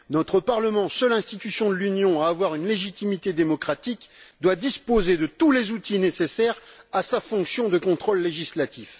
Notre Parlement, seule institution de l'Union à avoir une légitimité démocratique, doit disposer de tous les outils nécessaires à sa fonction de contrôle législatif.